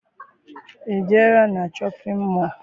I jere na shọpịn mọọ?